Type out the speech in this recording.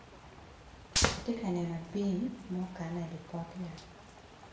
Atyeka neno abim ma okane i pot yat.